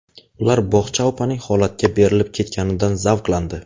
Ular bog‘cha opaning holatga berilib ketganidan zavqlandi.